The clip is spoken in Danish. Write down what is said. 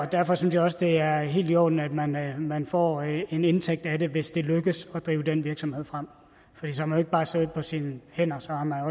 derfor synes jeg også det er helt i orden at man at man får en indtægt af det hvis det lykkes at drive den virksomhed frem så har man jo ikke bare siddet på sine hænder så har man